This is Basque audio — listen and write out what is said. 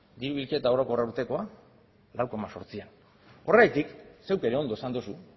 diru bilketa orokorra urtekoa lau koma zortzian horregatik zeuk ere ondo esan duzu